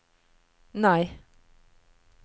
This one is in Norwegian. nei